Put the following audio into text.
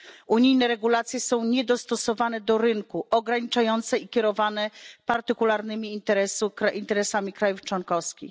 Unijne regulacje są niedostosowane do rynku, ograniczające i dyktowane partykularnymi interesami krajów członkowskich.